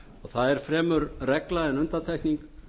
það er fremur regla en undantekning